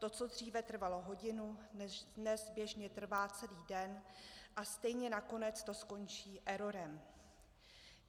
To, co dříve trvalo hodinu, dnes běžně trvá celý den, a stejně nakonec to skončí errorem.